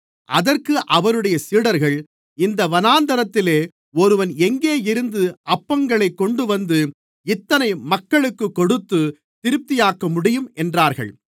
அதற்கு அவருடைய சீடர்கள் இந்த வனாந்திரத்திலே ஒருவன் எங்கே இருந்து அப்பங்களைக் கொண்டுவந்து இத்தனை மக்களுக்குக் கொடுத்து திருப்தியாக்கமுடியும் என்றார்கள்